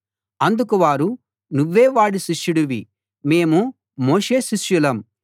అందుకు వారు నువ్వే వాడి శిష్యుడివి మేము మోషే శిష్యులం